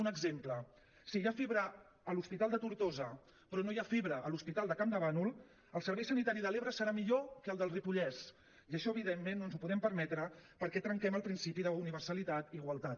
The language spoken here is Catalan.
un exemple si hi ha fibra a l’hospital de tortosa però no hi ha fibra a l’hospital de campdevànol el servei sanitari de l’ebre serà millor que el del ripollès i això evidentment no ens ho podem permetre perquè trenquem el principi d’universalitat i igualtat